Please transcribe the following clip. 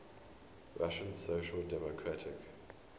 russian social democratic